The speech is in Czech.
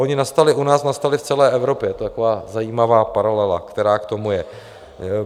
Ony nastaly u nás, nastaly v celé Evropě, to je taková zajímavá paralela, která k tomu je.